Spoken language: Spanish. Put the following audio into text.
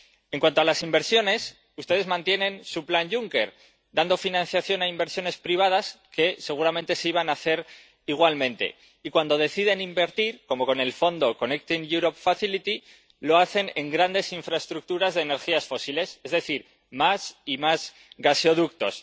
En cuanto a las inversiones, ustedes mantienen su plan Juncker, dando financiación a inversiones privadas que seguramente se iban a hacer igualmente, y cuando deciden invertir, como con el Mecanismo Conectar Europa, lo hacen en grandes infraestructuras de energías fósiles, es decir, más y más gasoductos.